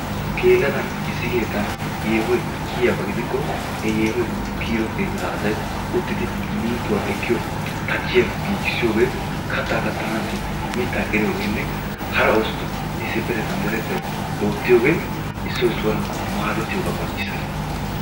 Geeladan issi keettan yeehoy kiyiyaba gidikko he yeehoy kiyido keettaa asay uttidi mintuwa ekkiyo tachiya giyogee kataa katanaassi mitaa qeriyoogeenne hara oosota issippetettan deretettay oottiyooge issoy issuwara madetiyoga qonccissees.